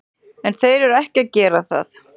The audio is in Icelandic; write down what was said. En þeir eru ekki að gera það.